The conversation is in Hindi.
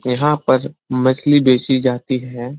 यहाँ पर मछली बेचीं जाती है।